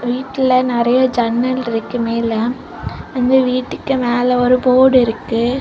வீட்ல நிறைய ஜன்னல் இருக்கு மேல அந்த வீட்டுக்கு மேல ஒரு போர்டு இருக்கு.